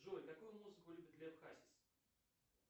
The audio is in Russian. джой какую музыку любит лев хасис